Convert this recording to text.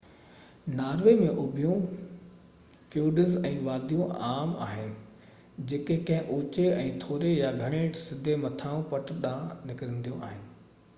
Norway ۾ اُڀيون fjords ۽ واديون عام آهن جيڪي ڪنهن اوچي ۽ ٿوري يا گهڻي سڌي مٿانهين پٽ ڏانهن نڪرنديون آهن